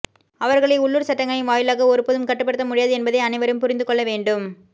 அவர்களை உள்ளூர் சட்டங்களின் வாயிலாக ஒருபோதும் கட்டுப்படுத்த முடியாது என்பதை அனைவரும் புரிந்துக்கொள்ள வேண்டும்